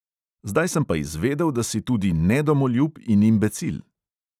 Zdaj pa sem izvedel, da si tudi nedomoljub in imbecil!